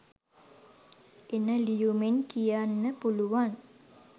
එන ලියුමෙන් කියන්න පුළුවන්